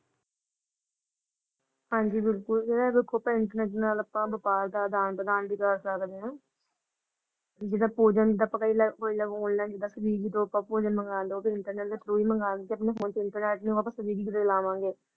ਹਾਂਜੀ ਬਿਲਕੁਲ ਜੇੜੇ ਦੇਖੋ ਅੱਪਾ ਵ੍ਯਾਪਾਰ ਦਾ ਅਦਾਨ-ਪ੍ਰਦਾਨ ਵੀ ਕਰ ਸਕਦੇ ਹਨ । ਤੇ ਜੇੜਾ ਆਨਲਾਈਨ ਮੰਗਾਣਗੇ ਉਹ ਵੀ internet ਦੇ through ਹੀ ਮੰਗਾਣਗੇ ਆਪਣੇ ਫੋਨ ਤੇ internet ਕਿਦਾ ਲਾਵਾਂਗੇ?